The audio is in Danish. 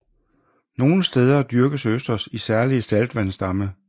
Nogle steder dyrkes østers i særlige saltvandsdamme